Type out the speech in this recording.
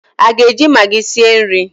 ị ga-eji Magị sie nri?